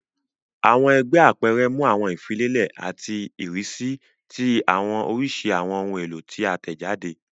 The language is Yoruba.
Awọn ẹgbẹ apẹrẹ mu awọn ifilelẹ ati irisi ti awọn orisirisi awọn ohun elo ti a tẹjade.